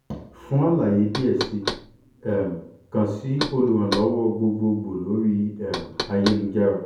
fun alaye diẹ sii um kan si oluranlọwọ gbogbogbo lori um ayelujara --> https://icliniq